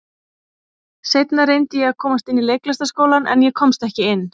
Seinna reyndi ég að komast inn í Leiklistarskólann, en ég komst ekki inn.